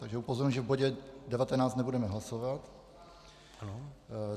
Takže upozorňuji, že v bodě 19 nebudeme hlasovat.